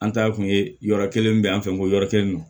An ta kun ye yɔrɔ kelen min bɛ an fɛ yen ko yɔrɔ kelen don